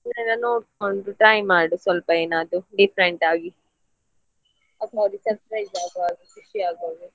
ನೀನು ಅದನ್ನ ನೋಡ್ಕೊಂಡು try ಮಾಡು ಸ್ವಲ್ಪ ಏನಾದ್ರೂ different ಆಗಿ surprise ಆಗುವ ಹಾಗೆ ಖುಷಿಯಾಗುವಾಗೆ.